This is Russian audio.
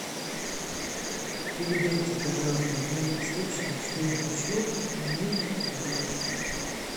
передайте пожалуйста на рецепшн что я хочу отменить бронь